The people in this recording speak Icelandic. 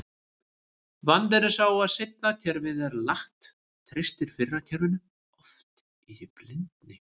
Vandinn er sá að seinna kerfið er latt, treystir fyrra kerfinu oft í blindni.